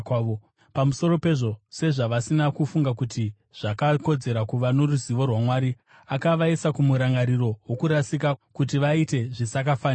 Pamusoro pezvo, sezvavasina kufunga kuti zvakakodzera kuva noruzivo rwaMwari, akavaisa kumurangariro wokurasika, kuti vaite zvisakafanira.